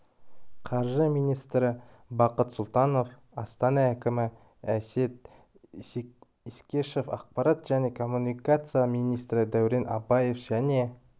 қаржы министрі бақыт сұлтанов астана әкімі әсет исекешев ақпарат және коммуникациялар министрі дәурен абаев және